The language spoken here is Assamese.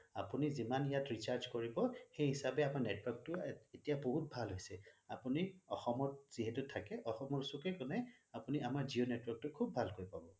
আপুনি যিমান ইয়াত recharge কৰিব সেই হিচাপে আমাৰ network টো এতিয়া বহুত ভাল হৈছে আপুনি অসমত যিহেতু থাকে অসমৰ চুকে কোনে আমাৰ জিঅ' network টো খোবে ভাল পাব